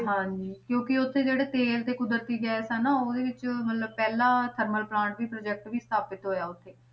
ਹਾਂਜੀ ਕਿਉਂਕਿ ਉੱਥੇ ਜਿਹੜੇ ਪੇੜ ਤੇ ਕੁਦਰਤੀ ਗੈਸ ਨਾ ਉਹਦੇ ਵਿੱਚ ਮਤਲਬ ਪਹਿਲਾ ਥਰਮਲ ਪਲਾਂਟ ਵੀ project ਵੀ ਸਥਾਪਿਤ ਹੋਇਆ ਉੱਥੇ,